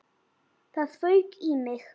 Það fauk í mig.